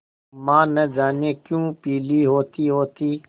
माँ न जाने क्यों पीली होतीहोती